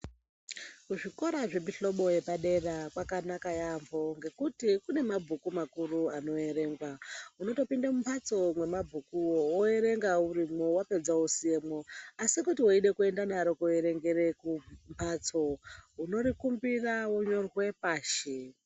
Kuzvikora zvemuhlobo wepadera kwakanaka yaamho ngekuti kune mabhuku makuru anoerengwa. Unotopinda mumhatso mwemabhukuwo, woerenga urimo wapedza wosiyemwo, asi kuti weida kuenda naro koerengera kumhatso, unorikumbira wonyorwe pashi.